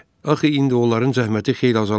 Axı indi onların zəhməti xeyli azalacaqdı.